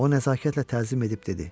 O nəzakətlə təzim edib dedi: